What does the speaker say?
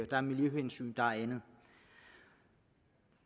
der er miljøhensyn der er andet men